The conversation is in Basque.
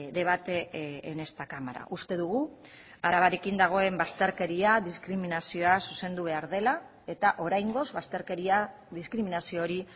debate en esta cámara uste dugu arabarekin dagoen bazterkeria diskriminazioa zuzendu behar dela eta oraingoz bazterkeria diskriminazio hori